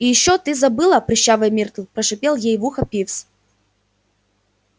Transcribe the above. и ещё ты забыла прыщавая миртл прошипел ей в ухо пивз